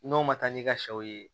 N'o ma taa n'i ka sɛw ye